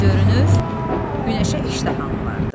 Görünür, günəşə iştahan vardır.